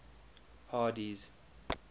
hardee's